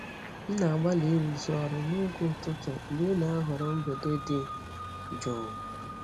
M na-agbalị ịrụzu ọrụ n'oge ụtụtụ mgbe ị na-ahọrọ mgbede dị jụụ.